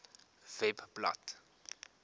webblad